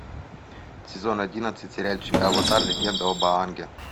сезон одиннадцать сериальчик аватар легенда об аанге